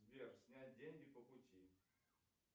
сбер снять деньги по пути